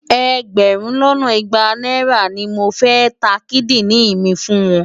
Ẹgbẹ̀rún lọ́nà igba náírà ni mo fẹ́ ta kídìrìn mi fún wọn.